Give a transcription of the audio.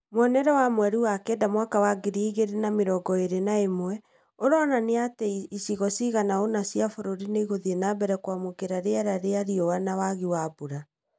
Mwonere wa mweri wa kenda mwaka wa ngiri igĩrĩ na mĩrongo ĩrĩ na ĩmwe ũronania atĩ icigo cigana ũna cia bũrũri nĩiguthiĩ na mbere kwamũkĩra riera rĩa rĩũa na wagi wa mbura